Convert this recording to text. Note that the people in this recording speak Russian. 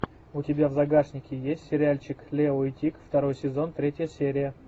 у тебя в загашнике есть сериальчик лео и тиг второй сезон третья серия